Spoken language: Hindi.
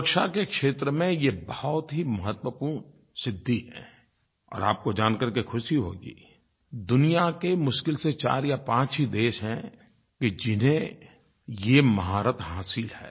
सुरक्षा के क्षेत्र में ये बहुत ही महत्वपूर्ण सिद्धि है और आपको जान करके ख़ुशी होगी दुनिया के मुश्किल से चार या पाँच ही देश हैं कि जिन्हें ये महारत हासिल है